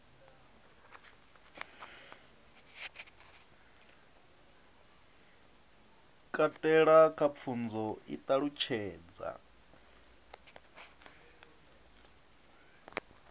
katela kha pfunzo i ṱalutshedza